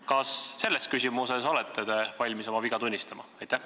Kas te selles küsimuses olete valmis oma viga tunnistama?